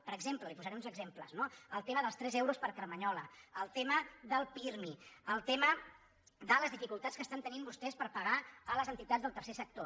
per exemple li’n posaré uns exemples no el tema dels tres euros per carmanyola el tema del pirmi el tema de les dificultats que tenen vostès per pagar les entitats del tercer sector